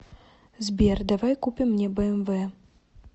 сбер давай купим мне бмв